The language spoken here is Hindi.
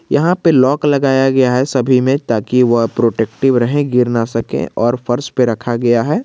यहां पे लॉक लगाया गया है सभी में ताकि वह प्रोटेक्टिव रहें गिर ना सके और फर्श पे रखा गया है।